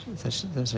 þessa